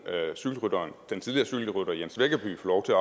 den tidligere cykelrytter jens veggerby få lov til